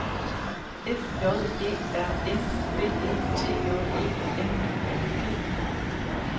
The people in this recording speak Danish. F J E R N B E T J E N I N G